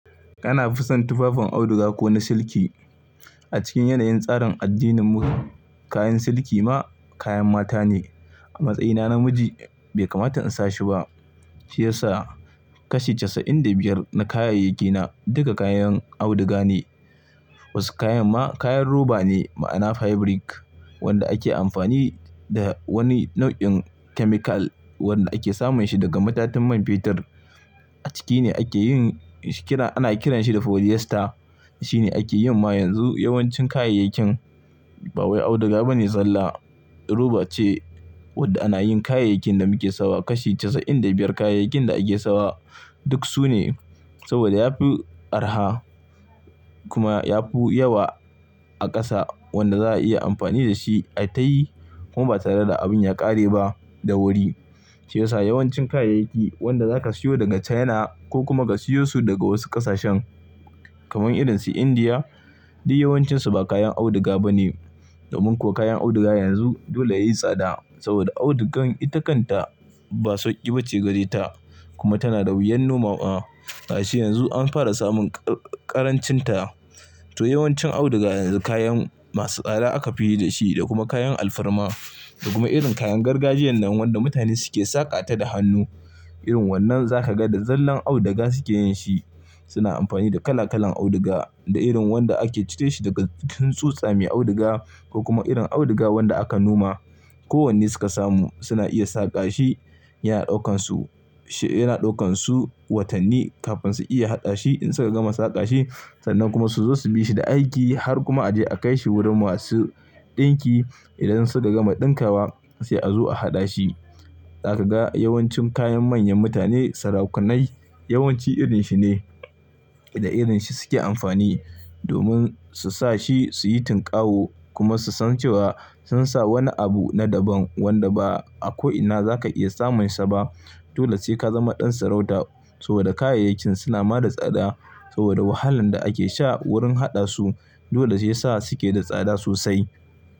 Ana fison tufafin auduga ko na siliki. A cikin yanayin tsarin addininmu kayan siliki ma kayan mata ne. A matsayina namiji bai kamata in sa shi ba. Shi yasa kashi casa'in da biyar na kayayyakina duka kayan auduga ne. Wasu kayan ma kayan roba ne ma'ana fabric wanda ake amfani da wani nau'in chemical wanda ake samun shi daga matattun man fetur. A ciki ne ake yin shi kira ana kiranshi da polyester. Shi ne ake yin ma yanzu yawancin kayayyakin. Ba wai auduga ba ne zalla, roba ce wadda ana yin kayayyakin da muke sawa. Kashi casa'in da biyar kayayakin da ake sawa duk su ne saboda ya fi araha kuma ya fi yawa a ƙasa wanda za a iya amfani da shi a tayi kuma ba tare da abun ya ƙare ba da wuri. Shi yasa yawancin kayayyaki wanda zaka siyo daga China ko kuma ka siyo su daga wasu ƙasashen kamar irin su India duk yawancinsu ba kayan auduga ba ne. Domin kuwa kayan auduga yanzu dole yayi tsada saboda audugan itakanta ba sauƙi ba ce gare ta kuma tana da wuyan noma wa. Gashi yanzu an fara samun ƙarancinta. To yawancin auduga yanzu kayan masu tsada aka fi yi da shi da kuma kayan alfarma da kuma irin kayan gargajiyan nan wanda mutane suke saƙa ta da hannu. Irin wannan za ka ga da zallan auduga suke yin shi. Suna amfani da kala kalan auduga da irin wanda ake cire shi daga cikin tsutsa mai auduga ko kuma irin auduga wanda aka noma. Ko wanne suka samu suna iya saƙa shi. Yana ɗaukansu, yana ɗaukansu watanni kafin su iya haɗa shi in suka gama saƙa shi sannan kuma su zo su bi shi da aiki har kuma a je a kai shi wurin masu ɗinki idan suka gama ɗinkawa sai a zo a haɗa shi. Za ka ga yawancin kayan manyan mutane, sarakunai yawanci irin shi ne da irin shi suke amfani domin su sa shi su yi tunkawo kuma su san cewa sun sa wani abu na daban wanda ba a ko'ina za ka iya samun sa ba. Dole sai ka zama ɗan sarauta saboda kayayyakin suna ma da tsada saboda wahalan da ake sha wurin haɗa su. Dole sai yasa suke da tsada sosai.